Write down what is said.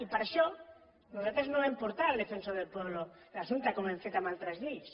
i per això nosaltres no vam portar al defensor del pueblo l’assumpte com hem fet amb altres lleis